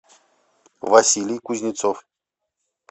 василий кузнецов